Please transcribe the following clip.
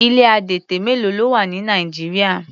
Ilé adẹtẹ mélo ni ó wà ní Nigeria?